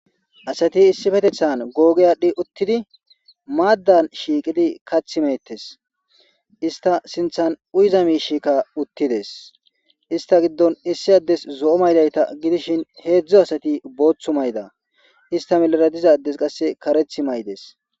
Asati issifetethan googeyadhdhi uttidi maaddan shiiqidi kath meettes ista sinthan uyza miishikka uttides ista giddon issi addes zo'o maydayta gidishin heedzdzo asati booththu mayda ista melara dizades qasse kareth maydes.